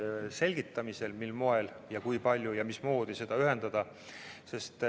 Selgitatakse, mil moel ja mil määral seda ühendada.